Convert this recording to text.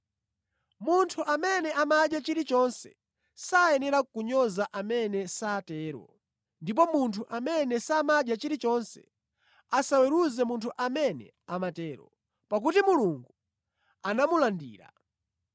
Munthu amene amadya chilichonse sayenera kunyoza amene satero, ndipo munthu amene samadya chilichonse asaweruze munthu amene amatero, pakuti Mulungu anamulandira.